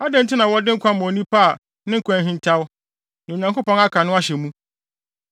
Adɛn nti na wɔde nkwa ma onipa a ne kwan ahintaw, nea Onyankopɔn aka no ahyɛ mu?